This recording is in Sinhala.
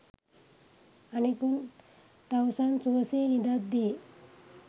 අනෙකුත් තවුසන් සුවසේ නිදද්දී